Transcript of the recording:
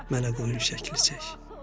Mənə qoyun şəkli çək.